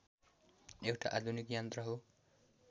एउटा आधुनिक यन्त्र हो